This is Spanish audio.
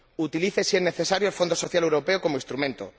utilice, si es necesario, el Fondo Social Europeo como instrumento